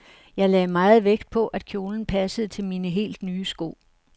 Jeg lagde meget vægt på, at kjolen passede til mine helt nye sko.